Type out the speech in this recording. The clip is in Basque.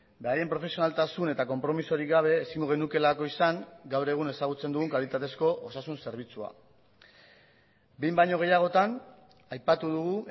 beraien profesionaltasun eta konpromisorik gabe ezingo genukeelako izan gaur egun ezagutzen dugun kalitatezko osasun zerbitzua behin baino gehiagotan aipatu dugu